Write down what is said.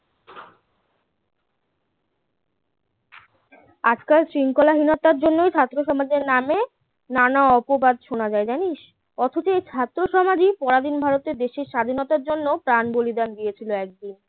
আজকাল শৃঙ্খলাহীনতার জন্যই ছাত্রসমাজের নামে নানা অপবাদ শোনা যায় জানিস অথচ এই ছাত্রসমাজই পরাধীন ভারতে দেশের স্বাধীনতার জন্য প্রাণ বলিদান দিয়েছিল একদিন